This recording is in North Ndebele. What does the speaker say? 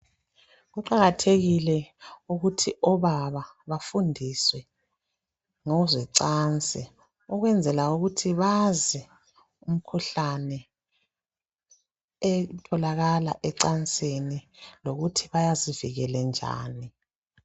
Kuqakatheke ukuthi obaba bafundiswe ngezocansi ukwenzela ukuthi bazi imikhuhlane etholakala ecansini lokuthi bazivikele njani.